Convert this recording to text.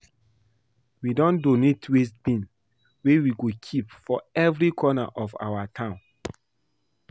We don donate waste bin wey we go keep for every corner of our town